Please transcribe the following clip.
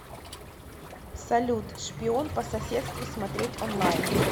салют шпион по соседству смотреть онлайн